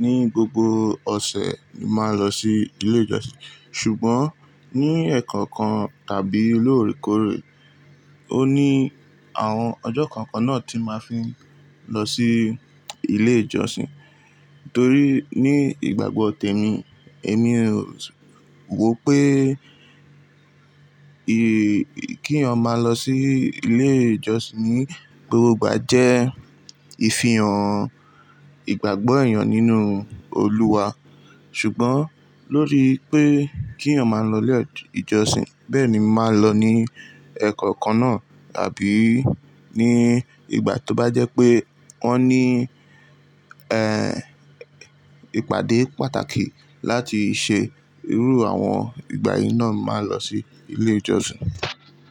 ní gbogbo ọ̀sẹ̀ ni mo máa n lọ sí ilé ìjọsìn. Ṣùgbọ́n ní ẹ̀ẹ̀kọ̀kan tàbí lóòrèkóòrè, óun ní àwọn ọjọ́ kan kan náà tí mo máa fi ń lọ sí ilé ìjọsìn. Torí ní ìgbàgbọ́ tèmi, èmi ò wò pé kí èèyàn máa lọ sí ilé ìjọsìn ní gbogbo ìgbà jẹ́ ìfihàn ìgbàgbọ́ èèyàn nínú Olúwa. Ṣùgbọ́n lórí pé kí èèyàn máa lọ ilé ìjọsìn bẹ́ẹ̀ ni mo máa n lọ ní ẹ̀ẹ̀kọ̀kan náà àbí ní ìgbà tó bá jẹ́ pé wọ́n ní, ẹ́, ìpàdé pàtàkì láti ṣe irú àwọn ìgbà yìí náà, mo màá n lọ sí ilé ìjọsìn.